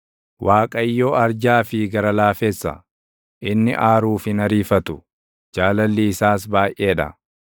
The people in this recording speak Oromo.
Waaqayyo arjaa fi gara laafessa; inni aaruuf hin ariifatu; jaalalli isaas baayʼee dha.